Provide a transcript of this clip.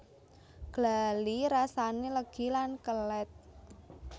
Glali rasane legi lan kelet